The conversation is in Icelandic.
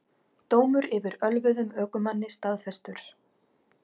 Dómur yfir ölvuðum ökumanni staðfestur